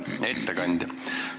Hea ettekandja!